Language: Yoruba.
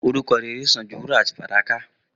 Orúkọ rẹrẹ sàn jú wúrà àti fàdákà